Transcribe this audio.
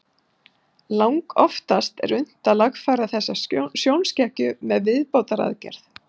Langoftast er unnt að lagfæra þessa sjónskekkju með viðbótaraðgerð.